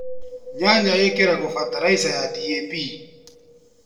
Nyanya īkīragwo bataraica ya DAP.